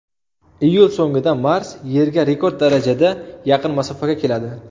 Iyul so‘ngida Mars Yerga rekord darajada yaqin masofaga keladi.